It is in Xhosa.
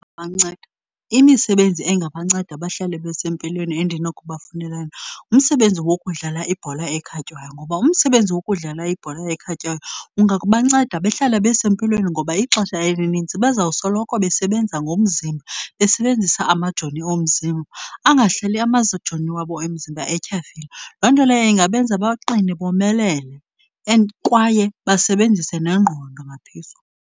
banceda. Imisebenzi engabanceda bahlale besempilweni endinokuba funela yona ngumsebenzi wokudlala ibhola ekhatywayo. Ngoba umsebenzi wokudlala ibhola ekhatywayo kungabanceda bahlale besempilweni ngoba ixesha elinintsi bazawusoloko besebenza ngomzimba, besebenzisa amajoni omzimba, angahlali amajoni wabo emzimba etyhafile. Loo nto leyo ingabenza baqine bomelele and kwaye basebenzise nengqondo ngaphezulu.